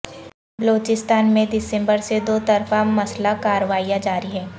بلوچستان میں دسمبر سے دو طرفہ مسلح کارروایاں جاری ہیں